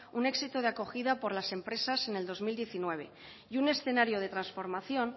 un éxito de acogida por las empresas en el dos mil diecinueve y un escenario de transformación